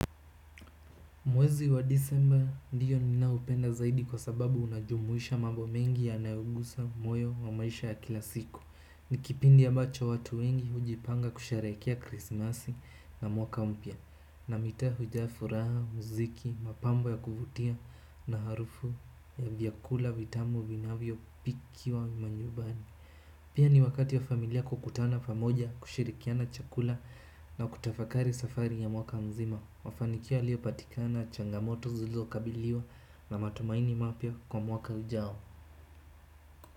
Mwezi wa Disemba ndio ninao upenda zaidi kwa sababu unajumuisha mambo mengi yanayogusa moyo wa maisha ya kila siku. Ni kipindi ambacho watu wengi hujipanga kusherehekea Krismasi na mwaka mpya. Na mitaa hujaa furaha, mziki, mapambo ya kuvutia. Na harufu ya vyakula, vitamu, vinavyo, pikiwa manyumbani. Pia ni wakati wa familia kukutana famoja kushirikiana chakula na kutafakari safari ya mwaka mzima. Mafanikio yaliyo patikana, changamoto zilizo kabiliwa na matumaini mapya kwa mwaka ujao.